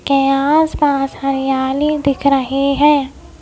के आसपास हरियाली दिख रही है।